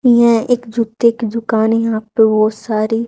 यह एक जुतें की दुकान हैं यहाँ पे बहोत सारी--